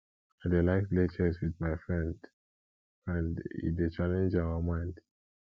i dey like play chess wit my friend friend e dey challenge our mind